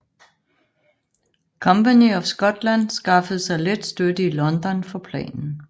Company of Scotland skaffede sig let støtter i London for planen